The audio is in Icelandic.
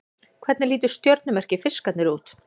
Hvernig lítur stjörnumerkið Fiskarnir út?